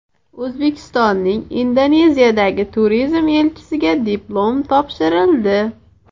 O‘zbekistonning Indoneziyadagi turizm elchisiga diplom topshirildi.